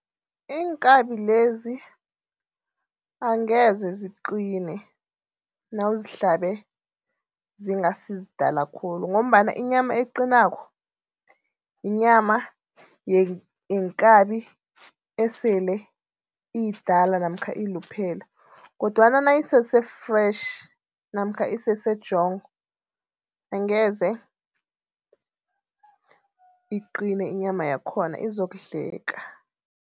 Iinkabi lezi angeze ziqine nawuzihlabe zingasizidala khulu. Ngombana inyama eqinako, yinyama yekabi esele iyidala namkha iluphele kodwana nayisese-fresh namkha isese jong, angeze iqine inyama yakhona izokudleka.